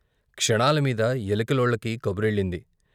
క్షణాల మీద ఎలికలోళ్ళకి కబురెల్లింది.